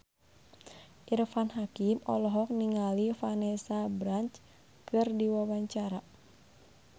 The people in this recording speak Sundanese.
Irfan Hakim olohok ningali Vanessa Branch keur diwawancara